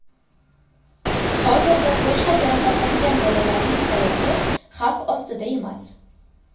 Hozirda boshqa jarohatlangan bolalarning hayoti xavf ostida emas.